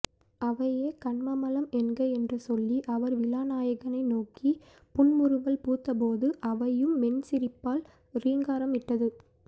அவையே கன்மமலம் என்க என்று சொல்லி அவர் விழாநாயகனை நோக்கி புன்முறுவல் பூத்தபோது அவையும் மென்சிரிப்பால் ரீங்காரம் இட்டது